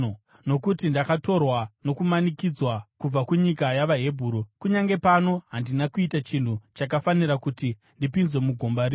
Nokuti ndakatorwa nokumanikidzwa kubva kunyika yavaHebheru, kunyange pano handina kuita chinhu chakafanira kuti ndipinzwe mugomba rino.”